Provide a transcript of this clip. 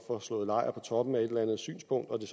får slået lejr på toppen af et eller andet synspunkt og det